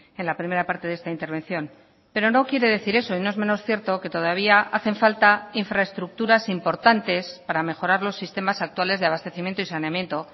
en la primera parte de esta intervención pero no quiere decir eso y no es menos cierto que todavía hacen falta infraestructuras importantes para mejorar los sistemas actuales de abastecimiento y saneamiento